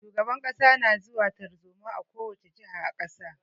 Shugaban kasa na zuwa tarzoma a ko wani jiha a kasa.